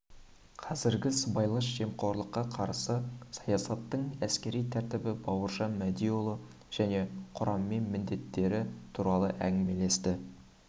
қазіргі сыбайлас жемқорлыққа қарсы саясаттың әскери тәртібі бауыржан мәдиұлы жеке құраммен міндеттері туралы әңгімелесті